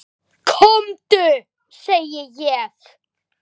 KOMDU SEGI ÉG!